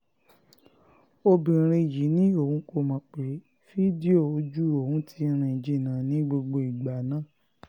obìnrin yìí ni òun kò mọ̀ pé fídíò ojú òun yìí ti rìn jìnnà ní gbogbo ìgbà náà